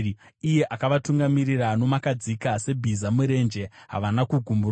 iye akavatungamirira nomakadzika? Sebhiza murenje, havana kugumburwa;